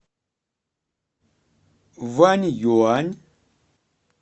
ваньюань